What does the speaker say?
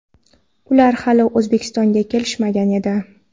ular hali O‘zbekistonga kelishmagan edi.